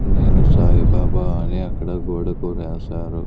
నేను సాయిబాబా అని అక్కడ గోడకు రాశారు.